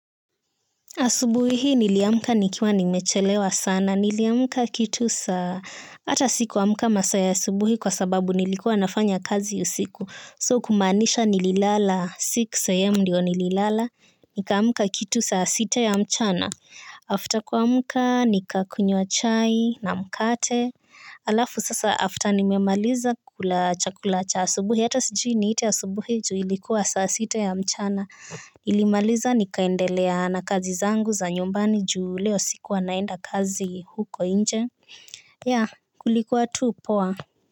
Asubuhi hii niliamka nikiwa nimechelewa sana, niliamka kitu saa hata sikuamka masaa ya asubuhi kwa sababu nilikuwa nafanya kazi usiku So kumaanisha nililala, six am ndio nililala. Nikaamka kitu saa sita ya mchana After kuamka, nikakunywa chai na mkate. Alafu sasa after nimemaliza kula chakula cha asubuhi. Hata sijui niite asubuhi juu ilikuwa saa sita ya mchana nilimaliza nikaendelea na kazi zangu za nyumbani juu leo sikua naenda kazi huko nje Ya kulikuwa tu poa.